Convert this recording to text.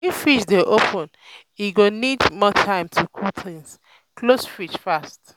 if fridge dey open e go need more time to cool things close fridge fast